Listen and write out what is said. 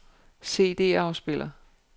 CD-afspiller